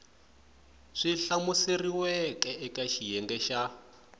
swi hlamuseriweke eka xiyenge xa